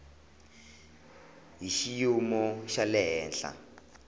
hi xiyimo xa le henhla